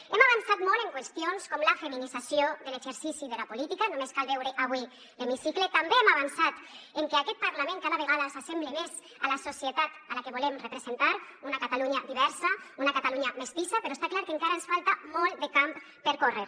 hem avançat molt en qüestions com la feminització de l’exercici de la política només cal veure avui l’hemicicle també hem avançat en que aquest parlament cada vegada s’assembla més a la societat a la que volem representar una catalunya diversa una catalunya mestissa però està clar que encara ens falta molt de camp per córrer